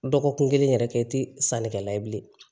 Dɔgɔkun kelen yɛrɛ kɛ i tɛ sannikɛla ye bilen